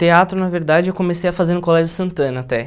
Teatro, na verdade, eu comecei a fazer no Colégio Santana até.